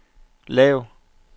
lav